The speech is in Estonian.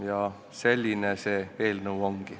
Ja selline see eelnõu ongi.